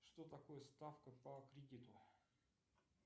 что такое ставка по кредиту